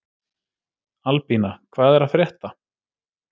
Albína, hvað er að frétta?